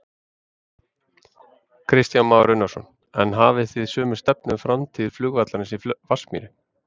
Kristján Már Unnarsson: En hafið þið sömu stefnu um framtíð flugvallarins í Vatnsmýri?